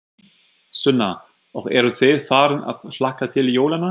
Sunna: Og eruð þið farin að hlakka til jólanna?